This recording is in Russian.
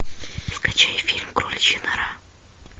скачай фильм кроличья нора